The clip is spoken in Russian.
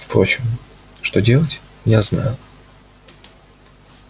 впрочем что делать я знаю